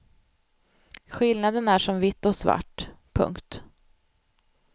Skillnaden är som vitt och svart. punkt